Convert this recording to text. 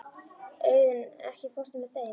Auðunn, ekki fórstu með þeim?